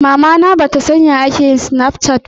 Mamana ba ta san ya snapchat yake aiki ba